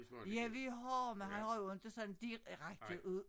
Ja vi har men han har jo inte sådan direkte ud